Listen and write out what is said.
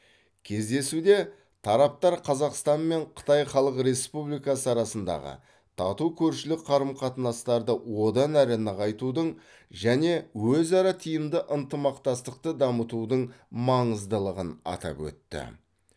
кездесуде тараптар қазақстан мен қытай халық республикасы арасындағы тату көршілік қарым қатынастарды одан әрі нығайтудың және өзара тиімді ынтымақтастықты дамытудың маңыздылығын атап өтті